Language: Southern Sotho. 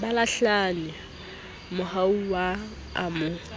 ba lahlane mohanuwa a mo